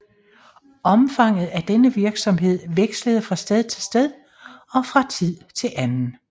Omfanget af denne virksomhed vekslede fra sted til sted og fra tid til anden